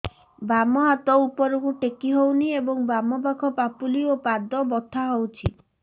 ବାମ ହାତ ଉପରକୁ ଟେକି ହଉନି ଏବଂ ବାମ ପାଖ ପାପୁଲି ଓ ପାଦ ବଥା ହଉଚି